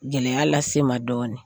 Gɛlɛya lase n ma dɔɔnin